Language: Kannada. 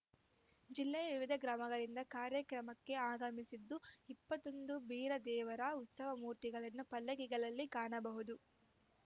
ಜಿಲ್ಲೆಯ ವಿವಿಧ ಗ್ರಾಮಗಳಿಂದ ಕಾರ್ಯಕ್ರಮಕ್ಕೆ ಅಗಮಿಸಿದ್ದ ಇಪ್ಪತ್ತೊಂದು ಬೀರದೇವರ ಉತ್ಸವಮೂರ್ತಿಗಳನ್ನು ಪಲ್ಲಕ್ಕಿಗಳಲ್ಲಿ ಕಾಣಬಹುದು